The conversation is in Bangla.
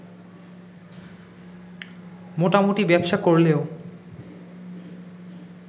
মোটামুটি ব্যবসা করলেও